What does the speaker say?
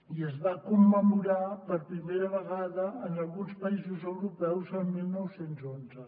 i es va commemorar per primera vegada en alguns països europeus el dinou deu u